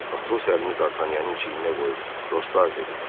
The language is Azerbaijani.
Atos əlini Dartanyanın çiyninə qoyub dostlar dedi: